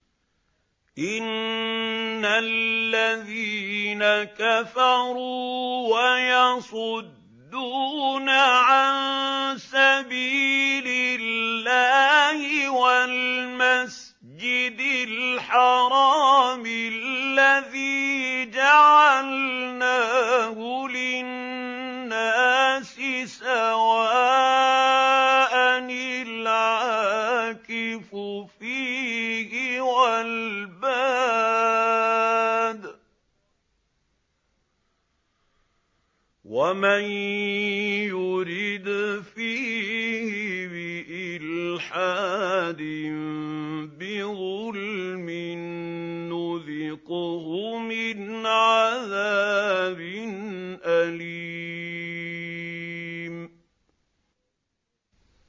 إِنَّ الَّذِينَ كَفَرُوا وَيَصُدُّونَ عَن سَبِيلِ اللَّهِ وَالْمَسْجِدِ الْحَرَامِ الَّذِي جَعَلْنَاهُ لِلنَّاسِ سَوَاءً الْعَاكِفُ فِيهِ وَالْبَادِ ۚ وَمَن يُرِدْ فِيهِ بِإِلْحَادٍ بِظُلْمٍ نُّذِقْهُ مِنْ عَذَابٍ أَلِيمٍ